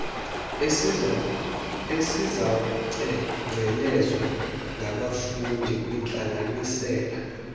esizawucengcelezwa ngabafundi kwiintlanganisela